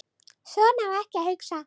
Svona á ekki að hugsa.